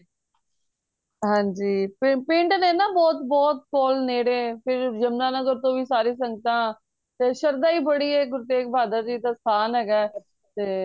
ਹਨਜੀ ਪਿੰਡ ਨੇ ਨਾ ਬਹੁਤ ਬਹੁਤ ਕੋਲ ਨੇੜੇ ਫੇਰ ਯਮੁਨਾਨਗਰ ਤੋਂ ਵੀ ਸਾਰੀਆਂ ਸੰਗਤਾਂ ਤੇ ਸ਼ਰਧਾ ਹੀ ਬੜੀ ਏ ਗੁਰੂ ਤੇਗ ਬਹਾਦਰ ਜੀ ਦਾ ਸਥਾਨ ਹੈਗਾ ਤੇ